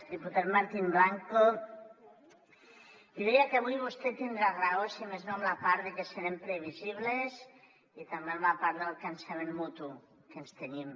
diputat martín blanco jo diria que avui vostè tindrà raó si més no en la part de que serem previsibles i també en la part del cansament mutu que ens tenim